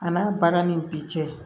A n'a baara ni bi cɛ